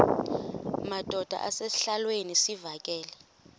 madod asesihialweni sivaqal